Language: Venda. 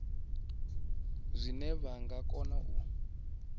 zwine vha nga kona u